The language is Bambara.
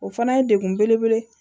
O fana ye degun belebele ye